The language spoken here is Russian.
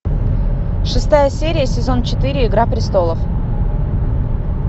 шестая серия сезон четыре игра престолов